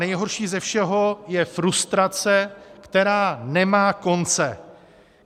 Nejhorší ze všeho je frustrace, která nemá konce.